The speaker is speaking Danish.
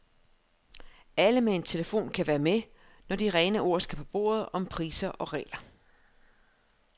Alle med en telefon kan være med, når de rene ord skal på bordet om priser og regler.